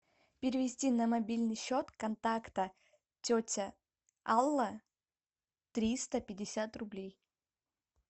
перевести на мобильный счет контакта тетя алла триста пятьдесят рублей